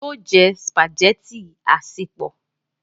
yóò jẹ spaghetti asepọ